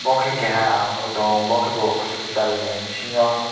obo khe keha ang nugui tongo bo khe bo hospital ni bisingo.